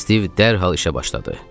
Stiv dərhal işə başladı.